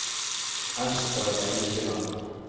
Esther Eikeland